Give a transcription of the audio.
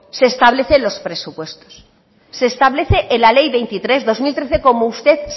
se establece en los presupuestos se establece en la ley veintitrés barra dos mil trece como usted